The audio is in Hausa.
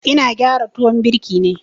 Ina gyara tuwon birki ne.